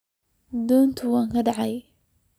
Donta way kacde.